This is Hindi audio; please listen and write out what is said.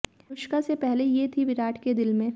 अनुष्का से पहले ये थी विराट के दिल में